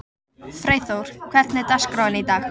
Freyþór, hvernig er dagskráin í dag?